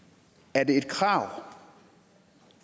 er det et krav